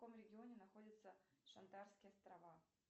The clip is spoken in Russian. в каком регионе находятся шантарские острова